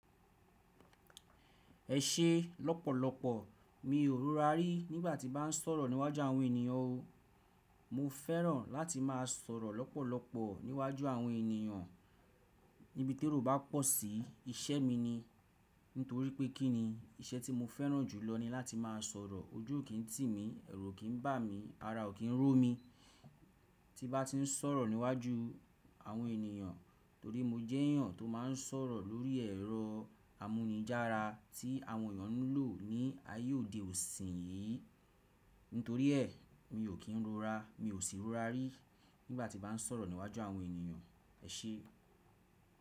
Ẹ ṣe lọ́pọ̀lọpọ̀ mi ò rorari nígbà tí bá n sọ̀rọ̀ níwájú àwọn ènìyàn o. Mo fẹ́ràn láti máa sọ̀rọ̀ lọ́pọ̀lọpọ̀ níwájú àwọn ènìyàn níbití èrò bá pọ̀ sí, iṣẹ́ mi ni. Nítorí pé kí ni iṣẹ́ tí mo fẹ́ràn jùlọ ni láti máa sọ̀rọ̀, ojú kì í tì mí, ẹ̀rù kì í bà mí, ara ò kí ń ró mi tí n bá ti n sọ̀rọ̀ níwájú àwọn ènìyàn, torí mo jẹ́ ènìyàn tó máa ń sọ̀rọ̀ lórí ẹ̀rọ amúnijára tí àwọn ènìyàn ń lò ní ayé òde ọ̀sìn yìí. Nítorí ẹ̀, mi ò kí ń rura, mi ò sì rurari nígbà tí bá n sọ̀rọ̀ níwájú àwọn ènìyàn ẹṣẹ.